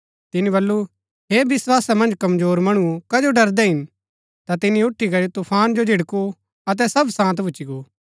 तिनी बल्लू हे विस्‍वासा मन्ज कमजोर मणुओ कजो डरदै हिन ता तिनी उठी करी तुफान जो झिड़कु अतै सब शान्त भूच्ची गो